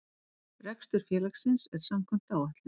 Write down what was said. Rekstur félagsins er samkvæmt áætlun